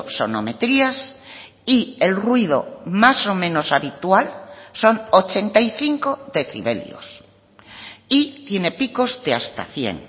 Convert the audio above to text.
sonometrías y el ruido más o menos habitual son ochenta y cinco decibelios y tiene picos de hasta cien